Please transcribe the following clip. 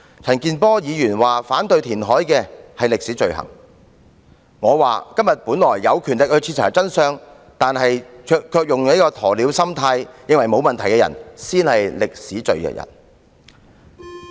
陳健波議員說反對填海的是歷史罪人，但我認為今天本來有權力徹查真相，但卻以鴕鳥心態認為沒有問題的人，才是歷史罪人。